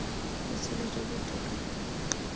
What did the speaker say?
botshelo jo bo botoka ka